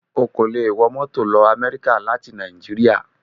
O kò lè wọ mọ́tò lọ Amẹ́ríkà láti Nàìjíríà